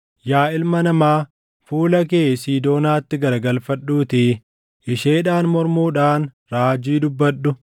“Yaa ilma namaa, fuula kee Siidoonaatti garagalfadhuutii isheedhaan mormuudhaan raajii dubbadhu;